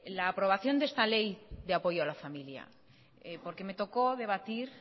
la aprobación de esta ley de apoyo a la familia porque me tocó debatir